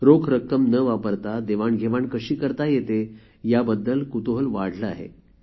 रोख रक्क्कम न वापरता देवाणघेवाण कशी करता येते या बद्दल कुतूहल वाढले आहे